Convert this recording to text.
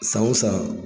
San o san